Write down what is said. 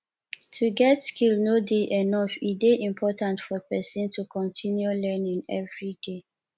to get skill no de enough e de important for persin to continue learning everyday